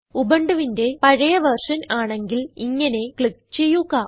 ഉബുണ്ടുവിന്റെ പഴയ വെർഷൻ ആണെങ്കിൽ ഇങ്ങനെ ക്ലിക്ക് ചെയ്യുക